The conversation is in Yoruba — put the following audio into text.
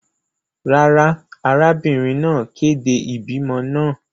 Rara, arabinrin naa kede ibimọ naa.